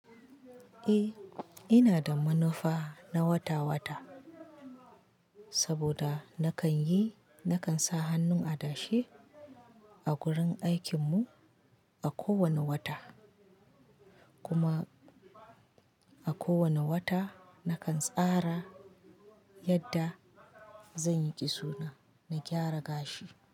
Eh, ina da manufa na wata-wata saboda nakan yi, nakan sa hannun adashe a gurin aikin mu a kowane wata. Kuma a kowane wata nakan tsara yadda zan yi kiso na, na gyara gashi.